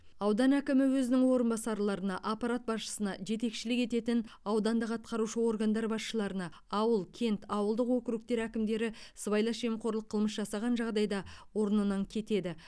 аудан әкімі өзінің орынбасарларына аппарат басшысына жетекшілік ететін аудандық атқарушы органдардың басшыларына ауыл кент ауылдық округтердің әкімдері сыбайлас жемқорлық қылмыс жасаған жағдайда орнынан кетеді